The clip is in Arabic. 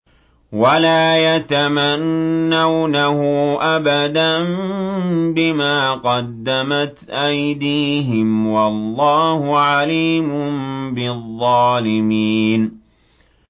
وَلَا يَتَمَنَّوْنَهُ أَبَدًا بِمَا قَدَّمَتْ أَيْدِيهِمْ ۚ وَاللَّهُ عَلِيمٌ بِالظَّالِمِينَ